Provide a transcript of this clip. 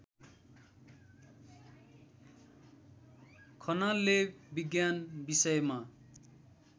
खनालले विज्ञान विषयमा